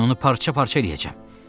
Mən onu parça-parça eləyəcəm.